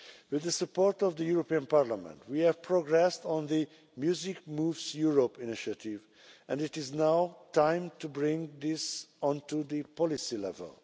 With the support of the European Parliament, we have progressed on the Music Moves Europe initiative, and it is now time to bring this onto the policy level.